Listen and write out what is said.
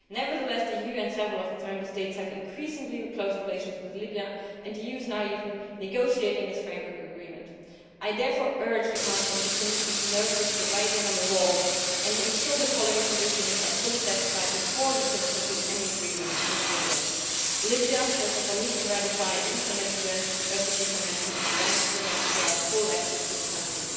Nevertheless, the EU and several of its Member States have increasingly close relations with Libya, and the EU is now even negotiating this framework agreement. I therefore urge the Council and Commission to notice the writing on the wall and ensure the following conditions are fully satisfied before we can conclude any agreement with Libya First of all, Libya needs to ratify and implement the UN refugee convention and grant the UNCHR full access to the country